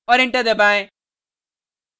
और enter दबाएँ